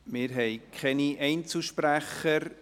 Wir haben keine Einzelsprecher.